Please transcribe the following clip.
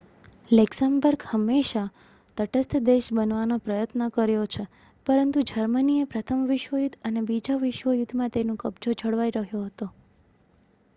Luxembourg ે હંમેશા તટસ્થ દેશ બનવાનો પ્રયાસ કર્યો છે પરંતુ જર્મનીએ પ્રથમ વિશ્વયુદ્ધ અને બીજા વિશ્વયુદ્ધ માં તેનું કબજો જળવાઈ રહ્યો હતો